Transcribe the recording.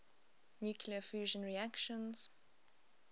nuclear fusion reactions